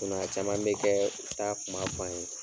a caman be kɛɛ, u t'a kuma f'an ye na.